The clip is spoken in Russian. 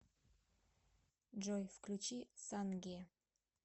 джой включи санге